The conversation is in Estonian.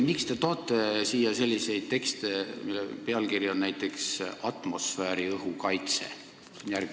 Miks te toote siia selliseid tekste, mille pealkiri on näiteks "Atmosfääriõhu kaitse"?